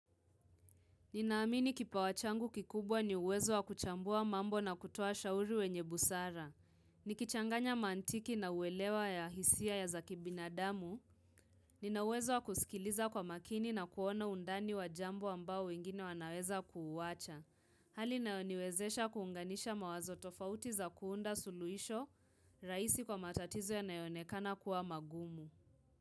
Ninaamini kipawa changu kikubwa ni uwezo wa kuchambua mambo na kutoa shauri wenye busara. Ni kichanganya mantiki na uwelewa ya hisia ya za kibinadamu. Ninawezo wa kusikiliza kwa makini na kuona undani wa jambo ambao wengine wanaweza kuuwacha. Hali inayoniwezesha kuunganisha mawazo tofauti za kuunda suluisho raisi kwa matatizo yanayoonekana kuwa magumu.